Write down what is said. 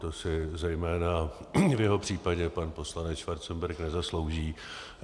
To si zejména v jeho případě pan poslanec Schwarzenberg nezaslouží.